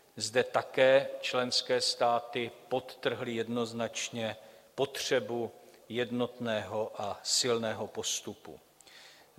Zde také členské státy podtrhly jednoznačně potřebu jednotného a silného postupu.